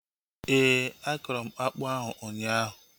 Éè, akọrọ m akpụ ahu ụnyaahụ